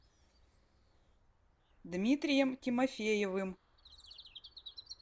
дмитрием тимофеевым